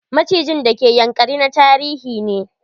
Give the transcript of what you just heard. Macijin d ke Ynakari na tarihi ne.